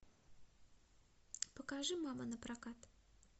покажи мама напрокат